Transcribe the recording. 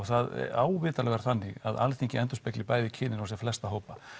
það á vitanlega að vera þannig að Alþingi endurspegli bæði kynin og sem flesta hópa